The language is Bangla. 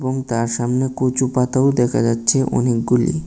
তার সামনে কচু পাতাও দেখা যাচ্ছে অনেকগুলি।